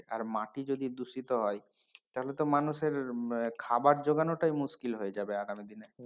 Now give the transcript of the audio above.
আর মাটি যদি দূষিত হয় তাহলে তো মানুষের আহ খাবার জোগানোটাই মুশকিল হয়ে যাবে আগামী দিনে।